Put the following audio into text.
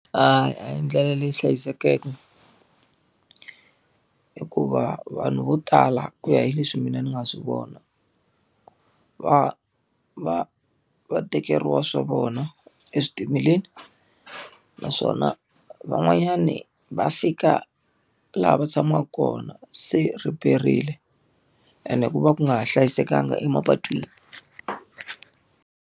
A hi ndlela leyi hlayisekeke. Hikuva vanhu vo tala ku ya hi leswi mina ni nga swi vona, va va va tekeriwa swa vona eswitimeleni. Naswona van'wanyani va fika laha va tshamaka kona se riperile ene ku va ku nga ha hlayisekanga emapatwini.